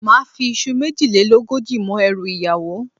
Máà fi iṣu méjìlélógójì mọ́ ẹrù ìyàwó